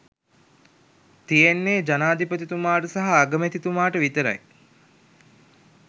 තියෙන්නේ ජනාධිපතිතුමාට සහ අගමැතිතුමාට විතරයි